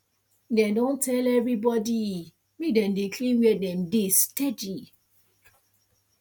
dem don tell everybody make dem dey clean where dem dey steady